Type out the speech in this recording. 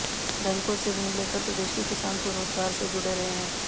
बैंकों से ऋण लेकर प्रदेश के किसान स्वरोजगार से जुड़ रहे हैं